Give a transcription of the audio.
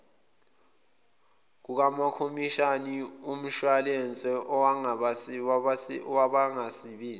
kukakhomishani womshwayilense wabangasebenzi